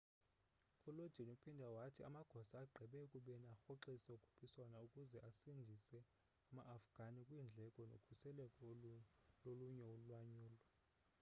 u lodin uphinde wathi amagosa agqibe ekubeni arhoxise ukhuphiswano ukuze asindise ama afghani kwiindleko nokhuseleko lolunye ulwanyulo